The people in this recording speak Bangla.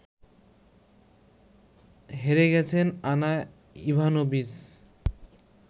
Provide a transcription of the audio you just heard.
হেরে গেছেন আনা ইভানোভিচ